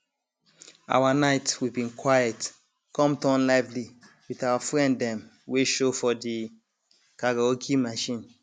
our night we been quiet come turn lively with our friend them wey show for the karaoke machine